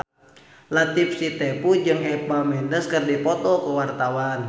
Latief Sitepu jeung Eva Mendes keur dipoto ku wartawan